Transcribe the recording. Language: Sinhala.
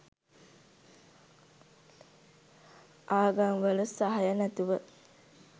ආගම්වල සහය නැතුව